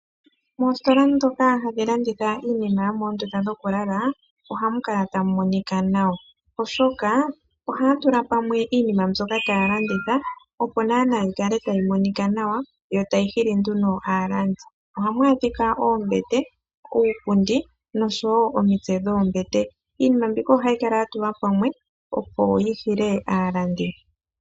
Moositola ndhoka hamu landithwa iinima yomoondunda dhokulala ohamu kala tamu monika nawa, oshoka ohaya tula pamwe iinima mbyoka taya landitha, opo naanaa yi kale tayi monika nawa yo tayi hili nduno aalandi. Ohamu adhika oombete, uupundi nosho wo omitse dhoombete. Iinima mbika ohayi kala ya tulwa pamwe, opo yi hile aalandi.